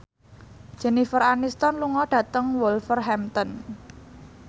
Jennifer Aniston lunga dhateng Wolverhampton